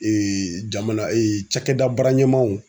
Ee jamana ee cakɛda baara ɲɛmaw